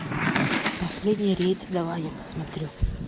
последний рейд давай я посмотрю